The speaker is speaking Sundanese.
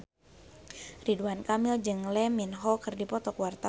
Ridwan Kamil jeung Lee Min Ho keur dipoto ku wartawan